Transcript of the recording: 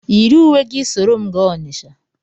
Yiri uwe gị soro m gaa Onitsha!